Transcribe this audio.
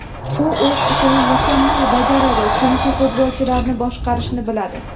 U o‘z ishini mukammal bajaradi, chunki futbolchilarni boshqarishni biladi.